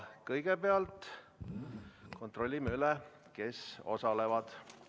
Kõigepealt kontrollime üle, kes osalevad.